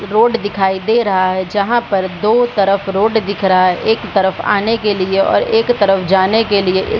Road दिखाई दे रहा है। जहां पर दो तरफ रोड दिख रहा है। एक तरफ आने के लिए और एक तरफ जाने के लिए ए --